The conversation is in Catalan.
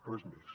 res més